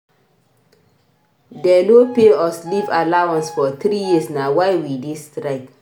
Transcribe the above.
Dey no pay us leave allowance for three years na why we dey strike.